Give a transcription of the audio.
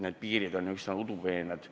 Need piirid on üsna udupeened.